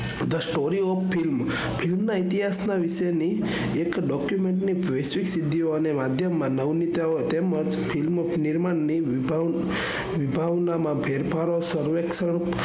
The story of film film ના ઇતિહાસ ના વિષય ની એક document ની વૈશ્વિક સિદ્ધિઓ અને માધ્યમ માં નવનીતાઓ તેમજ ફિલ્મ નિર્માણ ની વિભા વિભાવનામાં ફેરફારો, સર્વેક્ષણ